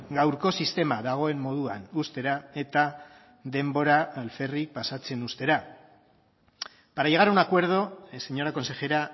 gaurko sistema dagoen moduan uztera eta denbora alferrik pasatzen uztera para llegar a un acuerdo señora consejera